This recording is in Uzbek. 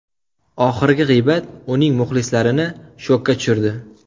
Oxirgi g‘iybat uning muxlislarini shokka tushirdi.